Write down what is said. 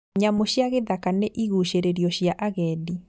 Nyamu cia gĩthaka nĩ igucĩrĩrio cia agendi